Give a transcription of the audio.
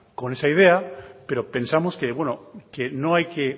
con esa idea pero pensamos que no hay que